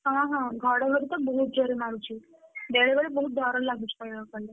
ହଁ ହଁ ଘଡଘଡି ତ ବହୁତ ଜୋରେ ମାରୁଛି ବେଳେବେଳେ ବହୁତ ଡ଼ର ଲାଗୁଛି କହିବାକୁଗଲେ,